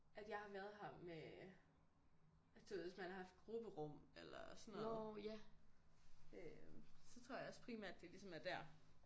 At jeg har været her med du ved hvis man har haft grupperum eller sådan noget øh så tror jeg også primært det ligesom er der